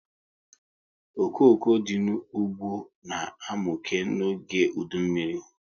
Okoko dị n'ụgbọ na amuke n'oge udu mmiri